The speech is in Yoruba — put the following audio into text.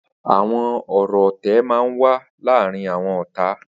Awọn ọrọ ọtẹ mà n wà làárin awọn ọ̀tá